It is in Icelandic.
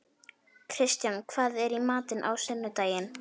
Kristján, hvað er í matinn á sunnudaginn?